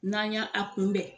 N'an ya a kunbɛn